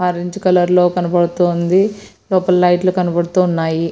Orange కలర్లో కనబడుతూ ఉంది. లోపల లైట్ లు కనబడుతూ ఉన్నాయి.